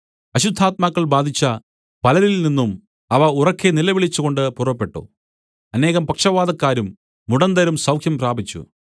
അശുദ്ധാത്മാക്കൾ ബാധിച്ച പലരിൽനിന്നും അവ ഉറക്കെ നിലവിളിച്ചുകൊണ്ട് പുറപ്പെട്ടു അനേകം പക്ഷവാതക്കാരും മുടന്തരും സൗഖ്യം പ്രാപിച്ചു